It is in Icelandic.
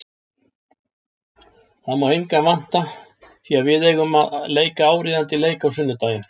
Það má engan vanta því að við eigum að leika áríðandi leik á sunnudaginn.